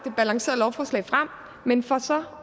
et balanceret lovforslag men får så